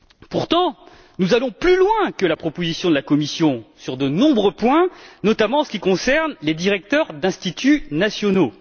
Pourtant, nous allons plus loin que la proposition de la Commission sur de nombreux points, notamment en ce qui concerne les directeurs des instituts nationaux.